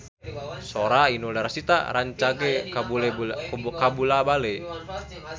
Sora Inul Daratista rancage kabula-bale